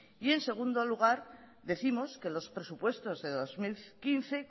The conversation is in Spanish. y en segundo lugar décimos que los presupuestos de dos mil quince